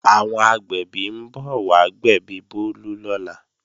Àwọn agbẹ̀bí ń bọ̀ wá gbẹ̀bí Bólú lọ́la